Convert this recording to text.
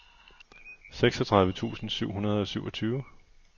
seksogtredive tusind syv hundrede og syvogtyve